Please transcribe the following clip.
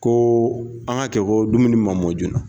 Ko an ka kɛ ko dumuni ma mɔ joona